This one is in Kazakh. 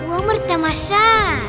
өмір тамаша